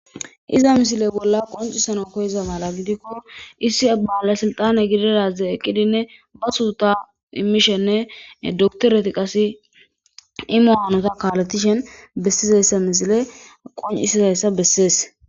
iza misile bolla qoncisano koyiza mala gidikko issi abbawala silxane gididaze eqqidinne ba suuta immishenne doktoreti qasi imuwaanota kaaletishen bessizeyssa misile qon7isidayssa bessees